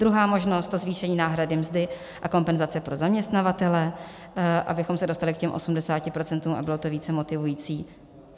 Druhá možnost: zvýšení náhrady mzdy a kompenzace pro zaměstnavatele, abychom se dostali k těm 80 % a bylo to více motivující.